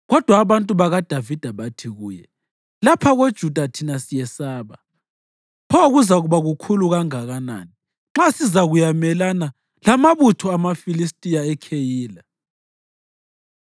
Kodwa abantu bakaDavida bathi kuye, “Lapha koJuda thina siyesaba. Pho kuzakuba kukhulu kangakanani nxa sizakuyamelana lamabutho amaFilistiya eKheyila!”